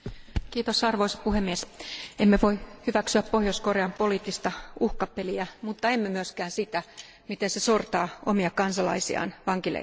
Arvoisa puhemies, emme voi hyväksyä Pohjois Korean poliittista uhkapeliä, mutta emme myöskään sitä, miten se sortaa omia kansalaisiaan vankileireillä.